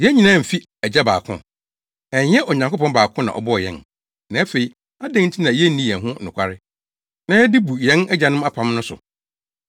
Yɛn nyinaa mfi Agya baako? Ɛnyɛ Onyankopɔn baako na ɔbɔɔ yɛn? Na, afei, adɛn nti na yenni yɛn ho yɛn ho nokware, na yɛde bu yɛn agyanom apam no so?